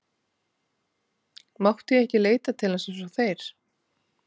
Mátti ég ekki leita til hans eins og þeir?